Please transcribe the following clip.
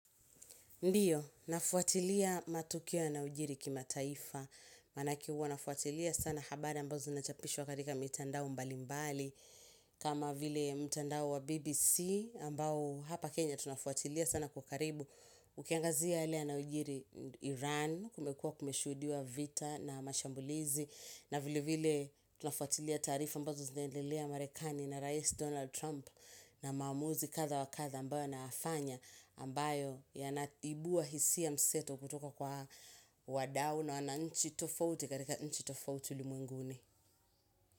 Ndiyo, nafuatilia matukio yanayojiri kimataifa. Manake huwa nafuatilia sana habari ambazo zinachapishwa katika mitandao mbalimbali. Kama vile mtandao wa BBC ambao hapa Kenya tunafuatilia sana kwa karibu. Ukiangazia hali ya na ujiri Iran kumekua kumeshudiwa vita na mashambulizi. Na vile vile tunafuatilia tarifa ambazo zinandelea Marekani na Rais Donald Trump na mamuzi katha wa nkatha ambayo na afanya ambayo ya naibuwa hisi ya mseto kutoka kwa wadao na wana nchi tofauti karika nchi tofauti ulimunguni.